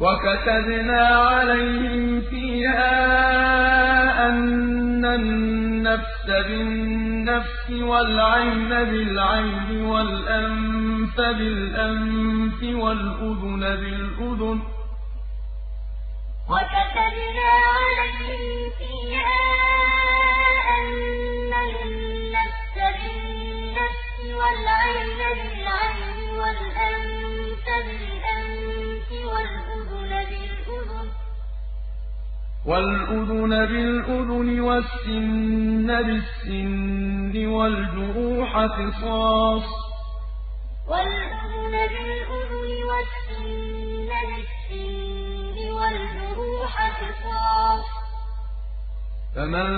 وَكَتَبْنَا عَلَيْهِمْ فِيهَا أَنَّ النَّفْسَ بِالنَّفْسِ وَالْعَيْنَ بِالْعَيْنِ وَالْأَنفَ بِالْأَنفِ وَالْأُذُنَ بِالْأُذُنِ وَالسِّنَّ بِالسِّنِّ وَالْجُرُوحَ قِصَاصٌ ۚ فَمَن